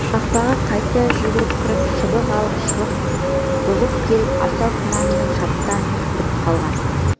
қақпаға қайта жүгіріп кіріп шыбық алып шығып бұғып келіп асау құнанды шаптан да түртіп қалған